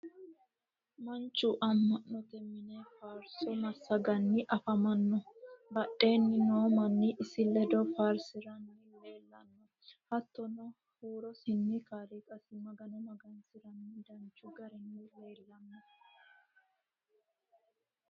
manchu ama'note mine faarso masaganni afamanno. badheenni noo manni isi ledo faarsiranni leelanno. hatonni huurosinni kaaliqasi magano magansiranni danchu garinni leelanno.